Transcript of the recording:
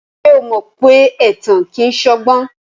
Ṣé o mọ pé ẹ̀tàn kìí ṣọgbọ́n?